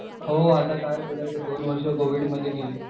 हो आता काय बोलायचं दोन वर्षे कोविडमध्ये गेली.